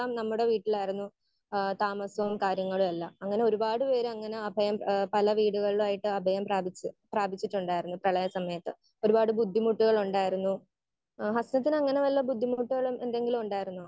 Speaker 1 നമ്മുടെ വീട്ടിലായിരുന്നു ഏഹ് താമസോം കാര്യങ്ങളുമെല്ലാം. അങ്ങനെ ഒരുപാട് പേര് അങ്ങനെ അഭയം ഏഹ് പല വീടുകളിലായിട്ട് അഭയം പ്രാപിച്ചു പ്രാപിച്ചിട്ടുണ്ടായിരുന്നു പ്രളയ സമയത്ത്. ഒരുപാട് ബുദ്ധിമുട്ടുകളുണ്ടായിരുന്നു. ആഹ് ഹസനത്തിന് അങ്ങനെ വല്ല ബുദ്ധിമുട്ടുകളും എന്തെങ്കിലും ഉണ്ടായിരുന്നോ?